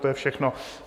To je všechno.